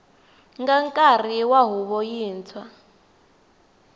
nga nkarhi wa huvo yintshwa